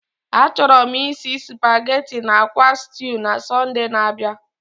Achọrọ m isi nri supageti na akwa stuu na Sọnde na-abịa.